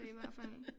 I hvert fald